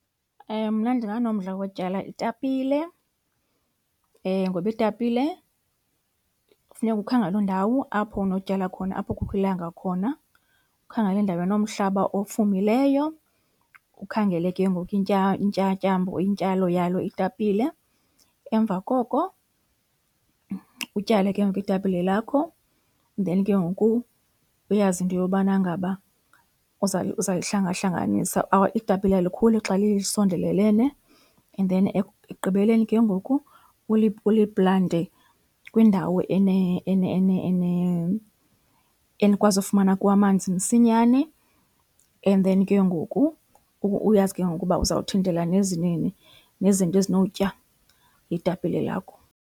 Mna ndinganomdla wotyala itapile ngoba itapile kufuneka ukhangele indawo apho unotyala khona, apho kukho ilanga khona. Ukhangele indawo enomhlaba ofumileyo, ukhangele ke ngoku intyatyambo or intyalo yalo itapile. Emva koko utyale ke ngoku itapile lakho then ke ngoku uyazi into yobana ngaba uzayihlangahlanganisa, itapile alikhuli xa lisondelelene. And then ekugqibeleni ke ngoku uliplante kwindawo enikwazi ufumana amanzi kuwo msinyane and then ke ngoku uyazi ke ngoku uba uzawuthintela nezinto ezinotya itapile lakho.